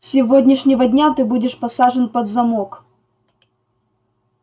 с сегодняшнего дня ты будешь посажен под замок